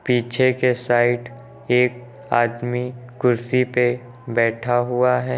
पीछे के साइड एक आदमी कुर्सी पे बैठा हुआ है।